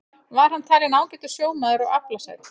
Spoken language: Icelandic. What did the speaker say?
Var hann talinn ágætur sjómaður og aflasæll.